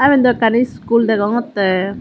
iben daw ekkan iskul degongotte.